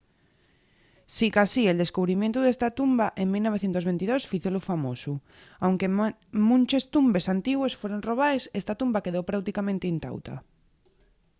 sicasí el descubrimientu d’esta tumba en 1922 fízolu famosu. aunque munches tumbes antigües fueron robaes esta tumba quedó práuticamente intauta